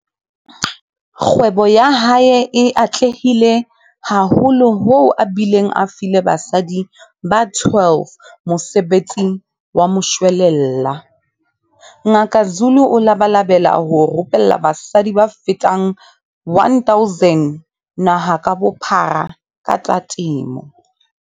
Kgwebo ya hae e atlehile haholo hoo a bileng a file basadi ba 12 mosebetsi wa moshwelella. Ngaka Zulu o labalabela ho rupella basadi ba fetang 1 000 naha ka bophara ka tsa temo.